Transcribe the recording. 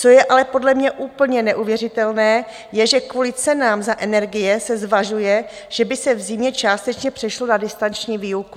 Co je ale podle mě úplně neuvěřitelné je, že kvůli cenám za energie se zvažuje, že by se v zimě částečně přešlo na distanční výuku.